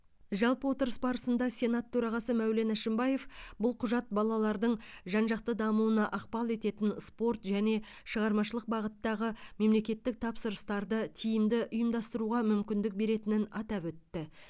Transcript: жалпы отырыс барысында сенат төрағасы мәулен әшімбаев бұл құжат балалардың жан жақты дамуына ықпал ететін спорт және шығармашылық бағыттағы мемлекеттік тапсырыстарды тиімді ұйымдастыруға мүмкіндік беретінін атап өтті